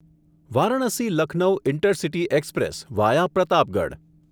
Varanasi Lucknow intercity express via Pratapgarh